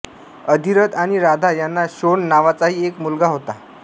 अधिरथ आणि राधा यांना शोण नावाचाही एक मुलगा होता